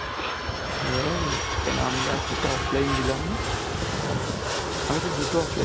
হ্যা রে, কেন আমি last এর টা offline দিলাম না. আমি তো দুটো offline ডি~